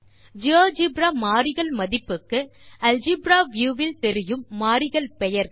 GeoGebra மாறிகள் மதிப்புக்கு algebra view வில் தெரியும் மாறிகள் பெயர்கள்